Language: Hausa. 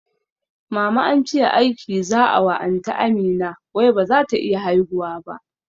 Mama ance aiki za'a wa anty Amina wai bazata iya haihuwa ba